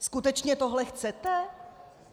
Skutečně tohle chcete?